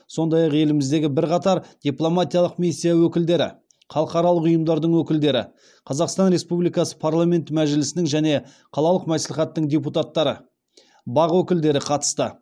сондай ақ еліміздегі бірқатар дипломатиялық миссия өкілдері халықаралық ұйымдардың өкілдері қазақстан республикасы парламенті мәжілісінің және қалалық мәслихаттың депутаттары бақ өкілдері қатысты